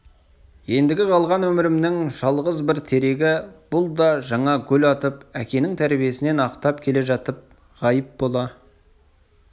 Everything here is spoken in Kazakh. ендігі қалған өмірімнің жалғыз бір терегі бұл да жаңа гүл атып әкенің тәрбиесін ақтап келе жатып ғайып бола